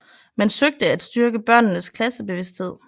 Man søgte at styrke børnenes klassebevidsthed